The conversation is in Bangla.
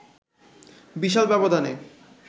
বিশাল ব্যবধানে